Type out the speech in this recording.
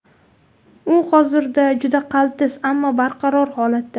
U hozirda juda qaltis, ammo barqaror holatda.